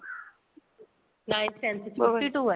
ninth tenth ਚ fifty two ਏ